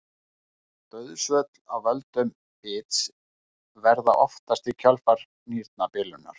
Dauðsföll af völdum bits verða oftast í kjölfar nýrnabilunar.